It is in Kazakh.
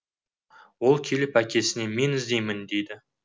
ол келіп әкесіне мен іздеймін дейді